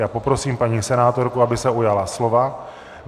Já poprosím paní senátorku, aby se ujala slova.